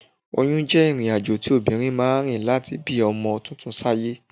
Oyún jẹ́ ìrìnàjò tí obìnrin máa ń rìn láti bí ọmọ tuntun sáyé